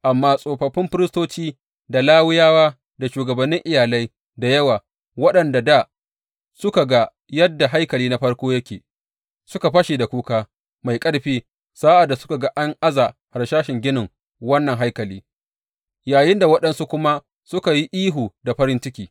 Amma tsofaffin firistoci, da Lawiyawa, da shugabannin iyalai da yawa, waɗanda dā suka ga yadda haikali na farko yake, suka fashe da kuka mai ƙarfi sa’ad da suka ga an aza harsashin ginin wannan haikali, yayinda waɗansu kuma suka yi ihu da farin ciki.